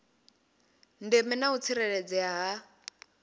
ndeme na u tsireledzea ha